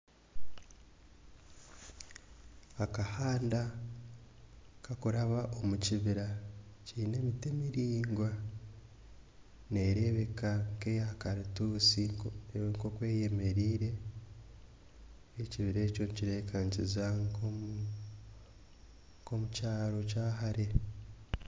Akahanda kakuraba omu kibira kiine emiti miraingwa nerebeka nkeya karitutsi nkoku eyemereire ekibira ekyo nikireebeka nikiza nkomukyaro kyahare